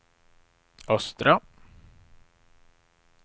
östra